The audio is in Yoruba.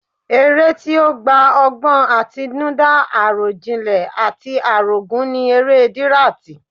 Eré tí ó gba ọgbọ́n àtinúdá, àròjinlẹ̀ àti àrògún ni eré dirati